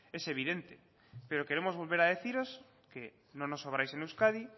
es evidente pero queremos volver a deciros que no nos sobráis en euskadi